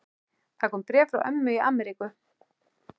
Það kom bréf frá ömmu í Ameríku.